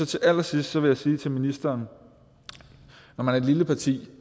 til allersidst vil jeg sige til ministeren når man er et lille parti